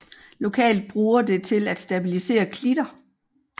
Lokalt bruger det til at stabilisere klitter